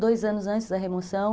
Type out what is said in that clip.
Dois anos antes da remoção.